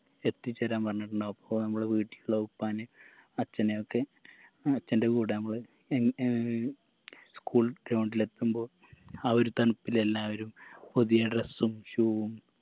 എത്തിച്ചേരാൻ പറഞ്ഞിട്ടുണ്ടാവും അപ്പൊ നമ്മളെ വീട്ടിലുള്ള ഉപ്പാനേം അച്ഛനെയൊക്കെ അച്ഛൻറെ കൂടെ നമ്മള് എൻ ഏർ school ground ലെത്തുമ്പോ ആ ഒരു തണുപ്പിൽ എല്ലാവരും പുതിയ dress ഉം shoe ഉം